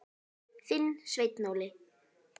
Þinn, Sveinn Óli.